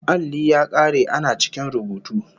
Alli ya kare ana cikin rubutu